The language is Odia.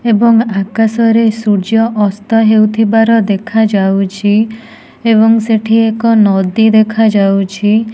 ଏବଂ ଆକାଶ ରେ ସୂର୍ଯ୍ୟ ଅସ୍ତ ହେଉଥିବାର ଦେଖାଯାଉଛି ଏବଂ ସେଠି ଏକ ନଦୀ ଦେଖାଯାଉଛି।